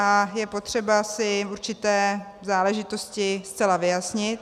A je potřeba si určité záležitosti zcela vyjasnit.